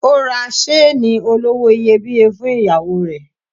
Ó ra seeni olówó iyebíye fún ìyàwó rẹ̀.